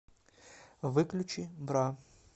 выключи бра